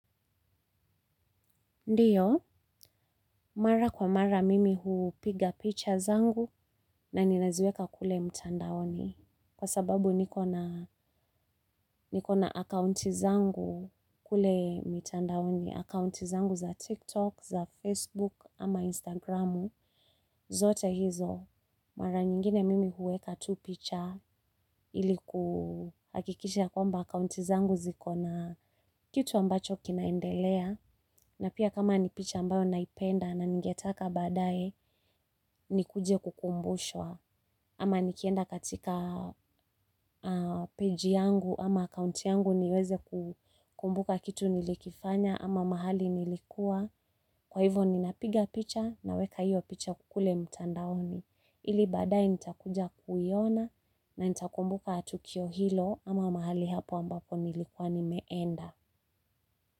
Ndiyo, mara kwa mara mimi hupiga picha zangu na ninaziweka kule mtandaoni. Kwa sababu nikona akaunti zangu kule mtandaoni, akaunti zangu za TikTok, za Facebook, ama Instagramu, zote hizo. Mara nyingine mimi hueka tu picha iliku hakikisha kwamba akaunti zangu ziko na kitu ambacho kinaendelea. Na pia kama ni picha ambayo naipenda na ningetaka baadae nikuje kukumbushwa ama nikienda katika peji yangu ama account yangu niweze kumbuka kitu nilikifanya ama mahali nilikua kwa hivo ninapiga picha na weka hiyo picha kule mtandaoni ili baadaye nitakuja kuiona na nitakumbuka tukio hilo ama mahali hapo ambapo nilikua nimeenda.